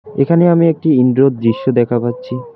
এখানে আমি একটি ইন্ডোর দৃশ্য দেখা পাচ্ছি।